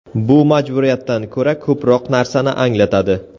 Bu majburiyatdan ko‘ra ko‘proq narsani anglatadi.